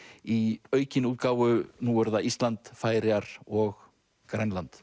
í aukinni útgáfu nú er það Ísland Færeyjar og Grænland